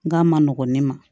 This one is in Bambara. N k'a ma nɔgɔn ne ma